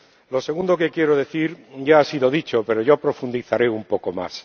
Lo segundo que quiero decir ya ha sido dicho, pero yo profundizaré un poco más.